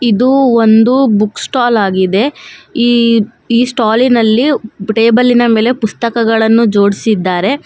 ಇದು ಒಂದು book stall ಆಗಿದೆ ಈ ಈ ಸ್ಟಾಲಿ ನಲ್ಲಿ ಟೇಬಲಿ ನ ಮೇಲೆ ಪುಸ್ತಕಗಳನ್ನು ಜೋಡಿಸಿದ್ದಾರೆ.